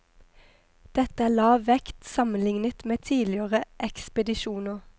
Dette er lav vekt sammenlignet med tidligere ekspedisjoner.